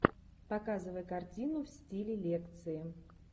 показывай картину в стиле лекции